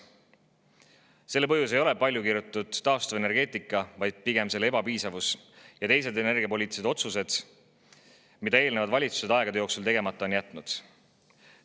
Selle põhjus ei ole palju kirutud taastuvenergia, vaid pigem selle ebapiisavus ja teised energiapoliitilised otsused, mida eelnevad valitsused aegade jooksul tegemata on jätnud.